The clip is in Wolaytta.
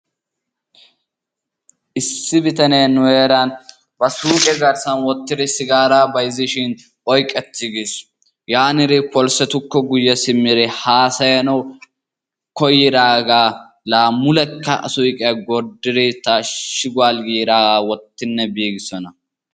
issi bitanee nu heeran ba suuqe garssan wottidi sigaaraa bayzzishin oyqqetiigis yaaniri polisetukko guye simmidi haasayanawu koyidaagaa laa mulekka a suyiqqiya gordidi taashiguwal giidaagaa wotinne biidosona.